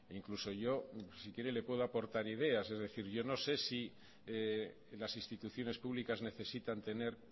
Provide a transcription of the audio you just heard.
incluso yo si quiere le puedo aportar ideas es decir yo no sé si las instituciones públicas necesitan tener